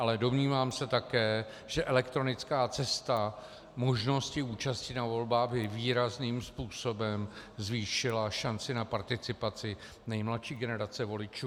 Ale domnívám se také, že elektronická cesta možností účasti na volbách by výrazným způsobem zvýšila šanci na participaci nejmladší generace voličů.